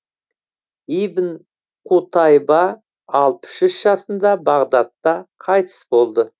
ибн қутайба алпыс үш жасында бағдатта қайтыс болды